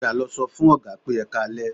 Padà lọ sọ fún Ọ̀gá pé "Ẹ káalẹ́"